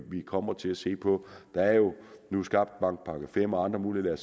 kommer til at se på der er jo nu skabt en § fem og andre muligheder